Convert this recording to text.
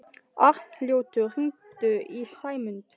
Arnljótur, hringdu í Sæmundu.